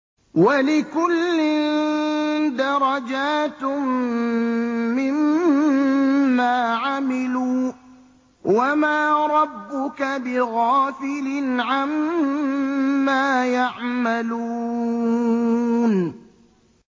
وَلِكُلٍّ دَرَجَاتٌ مِّمَّا عَمِلُوا ۚ وَمَا رَبُّكَ بِغَافِلٍ عَمَّا يَعْمَلُونَ